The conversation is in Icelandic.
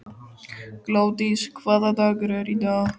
Glódís, hvaða dagur er í dag?